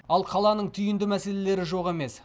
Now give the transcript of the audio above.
ал қаланың түйінді мәселелері жоқ емес